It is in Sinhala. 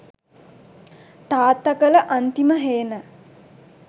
තාත්ත කල අන්තිම හේන